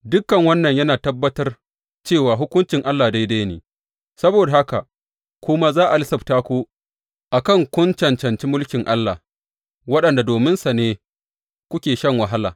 Dukan wannan yana tabbatar cewa hukuncin Allah daidai ne, saboda haka kuma za a lissafta ku a kan kun cancanci mulkin Allah, wanda dominsa ne kuke shan wahala.